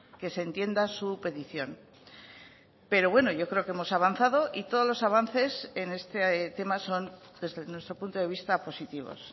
que se entienda su petición pero bueno yo creo que hemos avanzado y todos los avances en este tema son desde nuestro punto de vista positivos